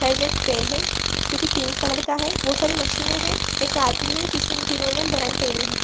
Side मे एक pen है जो की पिंक कलर का है बहोत सारी मशीने है एक आदमी है जिन्होने बरन पहनी है।